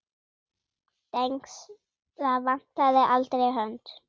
Dengsa vantaði aldrei hönd.